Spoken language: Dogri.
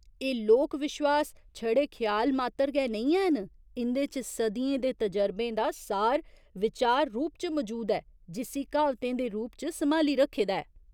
एह् लोक विश्वास छड़े ख्याल मात्तर गै नेईं हैन, इं'दे च सदियें दे तजरबें दा सार विचार रूप च मजूद ऐ, जिस्सी क्हावतें दे रूप च सम्हाली रक्खे दा ऐ।